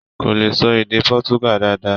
Kò lè ṣọ èdè Portugal dáadáa.